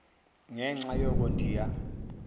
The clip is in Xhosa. ngenxa yoko ndiya